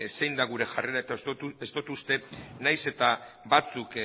zein den gure jarrera eta ez dut uste nahiz eta batzuk